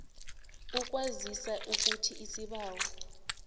ukukwazisa ukuthi isibawo